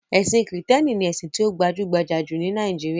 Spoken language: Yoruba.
Ẹ̀sin Kìrìtẹ̀ẹ́nì ni ẹ̀sìn tí ó gbajúgbajà jù ní Nàíjíríà.